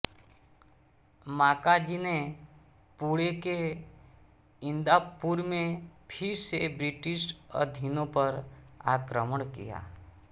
माकाजी ने पूणे के इंदापुर मे फिर से ब्रिटिश अधीनो पर आक्रमण किया